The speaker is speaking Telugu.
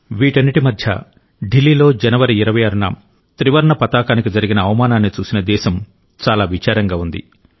వీటన్నింటి మధ్య ఢిల్లీలో జనవరి 26న త్రివర్ణ పతాకానికి జరిగిన అవమానాన్ని చూసిన దేశం చాలా విచారంగా ఉంది